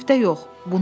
amma müftə yox.